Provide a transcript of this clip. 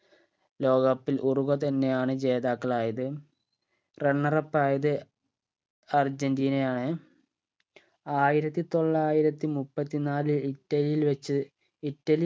ലോക cup ൽ Uruguay തന്നെയാണ് ജേതാക്കൾ ആയത് runner up ആയത് അർജന്റീനയാണ് ആയിരത്തി തൊള്ളായിരത്തി മുപ്പത്തിനാല് ഇറ്റലിയിൽ വെച്ച് ഇറ്റലി